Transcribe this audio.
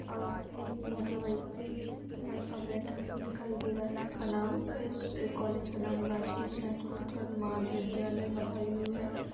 और एक motor bike पे एक लड़का बैठा हुआ दिखाय दे रहा है का नाम इस कॉलेज का नाम राजकीय स्नातकोत्तर महाविद्यालय बदायूं हैं।